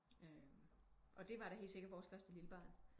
Og det var da helt sikker vores første lille barn